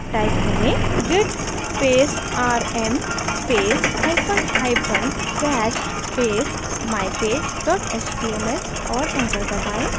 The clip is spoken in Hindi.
type करें: git space rm space hyphen hyphen cached space mypage dot html और enter दबाएँ